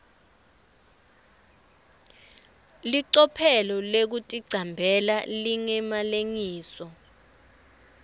licophelo lekuticambela lingemalengiso